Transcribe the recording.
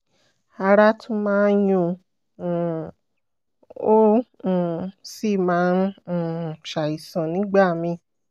ara tún máa ń yuún um un ó um sì máa ń um ṣàìsàn nígbà míì